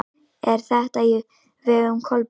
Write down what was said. Er þetta á vegum Kolbrúnar?